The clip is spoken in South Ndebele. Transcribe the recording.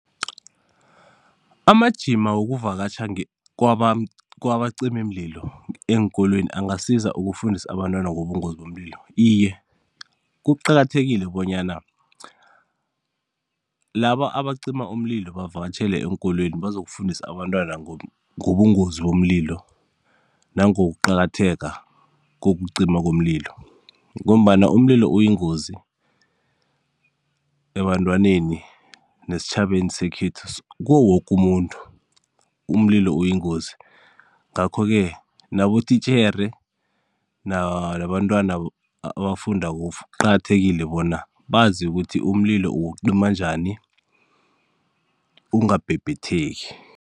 Amajima wokuvakatjha ngekwaba kwabacimimlilo eenkolweni angasiza ukufundisa abantwana ngobungozi bomlilo? Iye, kuqakathekile bonyana laba abacima umlilo bavakatjhele eenkolweni bazokufundisa abantwana ngobungozi bomlilo nangokuqakatheka kokucima komlilo, ngombana umlilo uyingozi ebantwaneni, nesitjhabeni sekhethu kuwo woke umuntu umlilo uyingozi ngakho ke nabotitjhere, nabantwana abafundako kuqakathekile bona bazi ukuthi umlilo uwucima njani ungabhebhetheki.